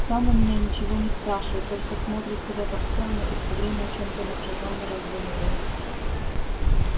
сам у меня ничего не спрашивает только смотрит куда-то в сторону и всё время о чём-то напряжённо раздумывает